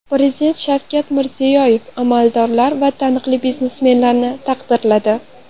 Prezident Shavkat Mirziyoyev amaldorlar va taniqli biznesmenlarni taqdirladi.